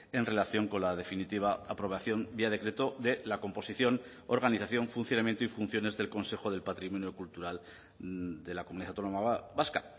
en relación con la definitiva aprobación vía decreto de la composición organización funcionamiento y funciones del consejo del patrimonio cultural de la comunidad autónoma vasca